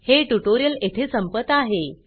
हे ट्यूटोरियल येथे संपत आहे